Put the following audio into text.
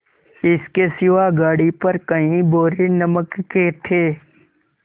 इसके सिवा गाड़ी पर कई बोरे नमक के थे